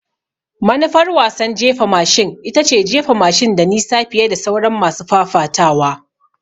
Manufar wasan jefa mashin ita ce jefa mashin da nisa fiye da sauran masu fafatawa.